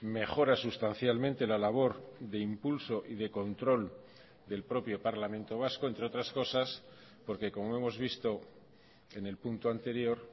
mejora sustancialmente la labor de impulso y de control del propio parlamento vasco entre otras cosas porque como hemos visto en el punto anterior